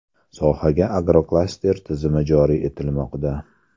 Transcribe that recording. Sohaga agroklaster tizimi joriy etilmoqda.